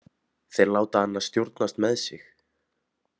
Þeir láta hana stjórnast með sig.